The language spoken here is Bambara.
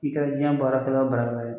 I kɛra jiyan baara kɛla o baara kɛla ye.